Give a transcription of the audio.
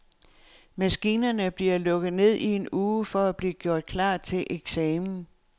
Maskinerne bliver lukket ned i en uge for at blive gjort klar til eksamen.